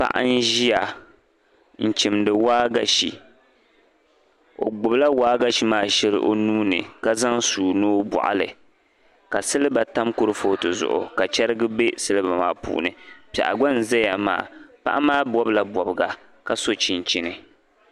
paɣa n-ʒia n chimdi waagashi o gbubila waagashi maa shɛli o nuuni ka zaŋ sua ni o bɔɣi li ka siliba tam kurifooti zuɣu ka cheriga be siliba maa puuni piɛɣu gba n zaya maa paɣa maa bɔbila bɔbiga ka so chinchini